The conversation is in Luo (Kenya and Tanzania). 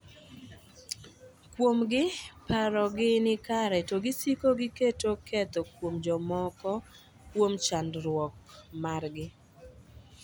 Kuomgi, paro gi ni kare to gisiko giketo ketho kuom jomoko kuom chandruok margi